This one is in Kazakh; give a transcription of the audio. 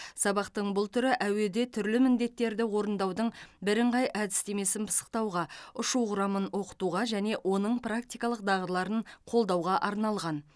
сабақтың бұл түрі әуеде түрлі міндеттерді орындаудың бірыңғай әдістемесін пысықтауға ұшу құрамын оқытуға және оның практикалық дағдыларын қолдауға арналған